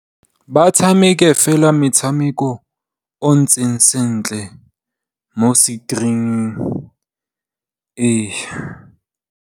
Ba tshameke fela metshameko e ntseng sentle mo screening.